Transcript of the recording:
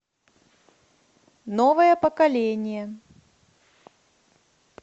новое поколение